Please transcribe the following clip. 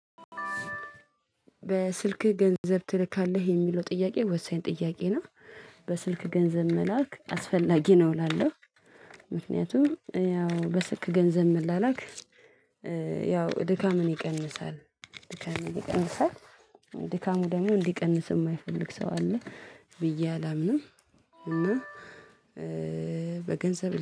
በስልክህ ገንዘብ ትልካለህ? የሚለው ጥያቄ ወሳኝ ጥያቄ ነው በስልክ ገንዘብ መላክ አስፈላጊ ነው እላለሁ ምክንያቱም ያው በስልክ ገንዘብ መላላክ ያው ድካምን ይቀንሳል ድካምን ይቀንሳል ድካሙ ደግሞ እንዲቀንስ የማይፈልግ ሰው አለ ብዬ አላምንም እና በገንዘብ